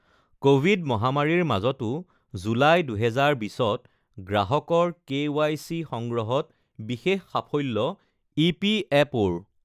covid মহামাৰীৰ মাজতো July ২০২০ত গ্ৰাহকৰ কেওৱাইচি সংগ্ৰহত বিশেষ সাফল্য ইপিএপঅৰ